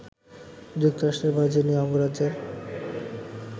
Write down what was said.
যুক্তরাষ্ট্রের ভার্জিনিয়া অঙ্গরাজ্যের